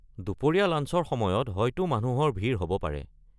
দুপৰীয়া লাঞ্চৰ সময়ত হয়টো মানুহৰ ভিৰ হ’ব পাৰে।